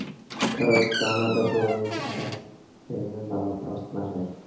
короче там надо было не сажать а именно на вопрос нажать